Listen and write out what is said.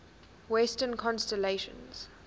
western constellations